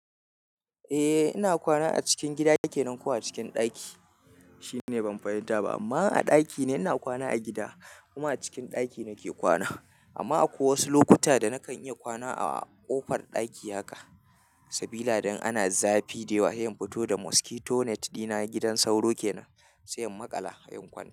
Eh ina kwana a cikin gida yake nan ko a cikin ɗaki, shine ban fahimta ba amma a ɗaki ne ina kwana a gida kuma a cikin ɗaki nake kwana. Amma akwai wasu lokuta da nakan iya kwana a ƙofar ɗaki haka sabida idan ana zafi da yawa he in fito da mosquito net dina gidan sauro kenan, sai in maƙala sai in kwanta.